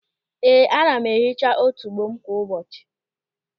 Ee, ana m ehicha otubo m kwa ụbọchị.